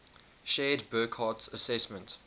shared burckhardt's assessment